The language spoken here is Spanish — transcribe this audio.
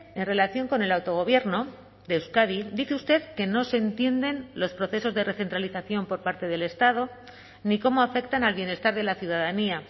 en relación con el autogobierno de euskadi dice usted que no se entienden los procesos de recentralización por parte del estado ni cómo afectan al bienestar de la ciudadanía